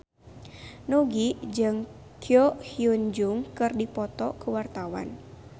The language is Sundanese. Nugie jeung Ko Hyun Jung keur dipoto ku wartawan